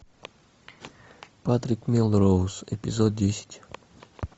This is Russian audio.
патрик мелроуз эпизод десять